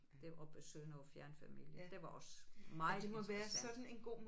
Derop besøge noget fjernfamilie det var også meget interessant